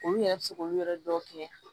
Olu yɛrɛ bɛ se k'olu yɛrɛ dɔw kɛ